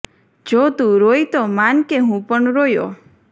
જો તું રોઈ તો માન કે હું પણ રોયો